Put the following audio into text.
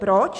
Proč?